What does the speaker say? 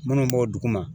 Minnu b'o duguma